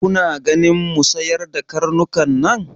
Kuna ganin mu sayar da karnukan nan?